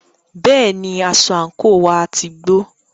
Bẹ́ẹ̀ni, aṣọ àńkò wá ti gbó.